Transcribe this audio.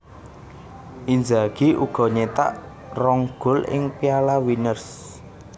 Inzagi uga nyetak rong gol ing Piala Winners